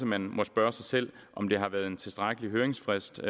man må spørge sig selv om der har været en tilstrækkelig høringsfrist